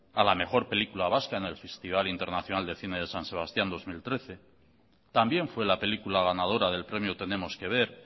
a la mejor película vasca en el festival internacional de cine de san sebastián dos mil trece también fue la película ganadora del premio tenemos que ver